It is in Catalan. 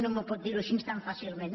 no m’ho pot dir així tan fàcilment